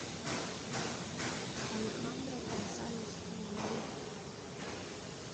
алехандро гонсалес иньярриту